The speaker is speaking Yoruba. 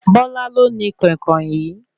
Bola lo ní koinkoin yìí